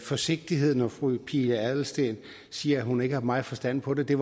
forsigtighed når fru pia adelsteen siger at hun ikke har meget forstand på det